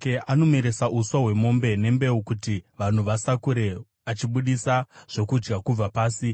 Anomeresa uswa hwemombe, nembeu kuti vanhu vasakure, achibudisa zvokudya kubva pasi: